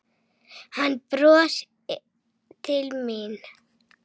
Hann brosir til mín.